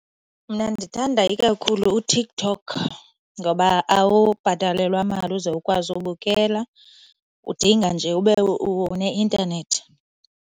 Mna ndithanda ikakhulu uTikTok ngoba awubhatalelwa mali uze ukwazi ubukela. Udinga nje ube uneintanethi.